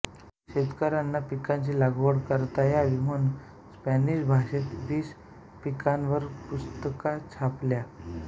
शेतकऱ्यांना पिकांची लागवड करता यावी म्हणून स्पॅनिश भाषेत वीस पिकांवर पुस्तिका छापल्या